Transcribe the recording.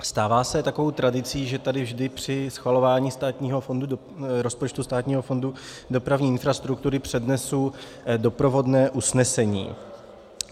Stává se takovou tradicí, že tady vždy při schvalování rozpočtu Státního fondu dopravní infrastruktury přednesu doprovodné usnesení.